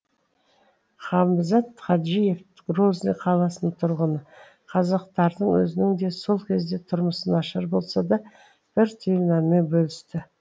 хамзат хаджиев грозный қаласының тұрғыны қазақтардың өзінің де сол кезде тұрмысы нашар болса да бір түйір нанмен бөлісті